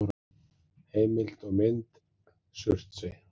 Heimild og mynd: Surtsey.